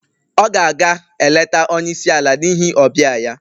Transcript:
Ọ ga-aga eleta onye isi ala n'ihi ọbịa ya